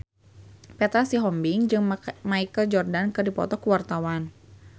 Petra Sihombing jeung Michael Jordan keur dipoto ku wartawan